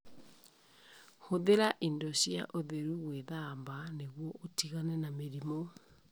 Hũthĩra indo cia ũtheru gwĩthamba nĩguo ũtigane na mĩrimũ.